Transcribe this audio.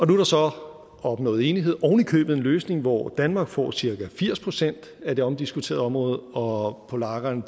der så opnået enighed ovenikøbet om en løsning hvor danmark får cirka firs procent af det omdiskuterede område og polakkerne